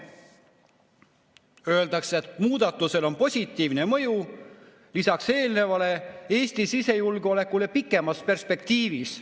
Öeldakse, et muudatusel on positiivne mõju lisaks eelöeldule ka Eesti sisejulgeolekule pikemas perspektiivis.